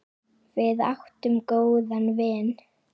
Við áttum góðan vin.